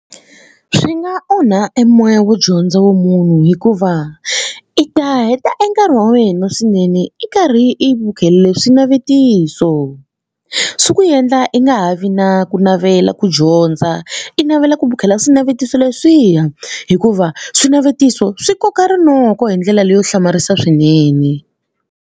Swi nga onha e moya wo dyondza wa munhu hikuva i ta heta e nkarhi wa wena swinene i karhi i bukhelele swinavetiso swi ku endla i nga ha vi na ku navela ku dyondza i navela ku bukhela swinavetiso leswiya hikuva swinavetiso swi koka rinoko hi ndlela leyo hlamarisa swinene.